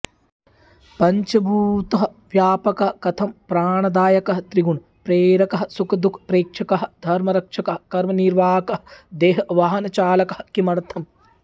पञ्चभूत व्यापकः कथं प्राणदायकः त्रिगुण प्रेरकः सुखदुःख प्रेक्षकः धर्मरक्षकः कर्मनिर्वाहकः देहवाहनचालकः किमर्थम्